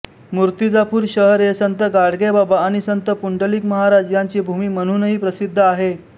मुर्तिजापूर शहर हे संत गाडगेबाबा आणि संत पुंडलिक महाराज यांची भूमी म्हणूनही प्रसिद्ध आहे